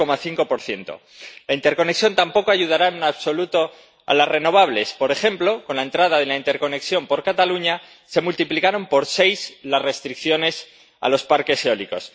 3,5 La interconexión tampoco ayudará en absoluto a las renovables por ejemplo, con la entrada de la interconexión por Cataluña, se multiplicaron por seis las restricciones a los parques eólicos.